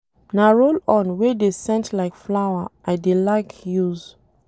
Na roll-on wey dey scent like flower I dey like use.